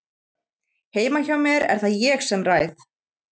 Heima hjá mér er það ég sem ræð.